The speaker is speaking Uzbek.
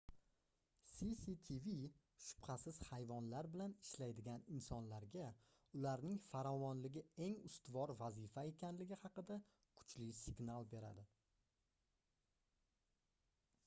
cctv shubhasiz hayvonlar bilan ishlaydigan insonlarga ularning farovonligi eng ustuvor vazifa ekanligi haqida kuchli signal beradi